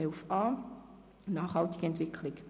(11.a Nachhaltige Entwicklung;